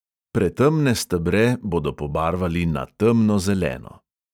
Pretemne stebre bodo pobarvali na temnozeleno.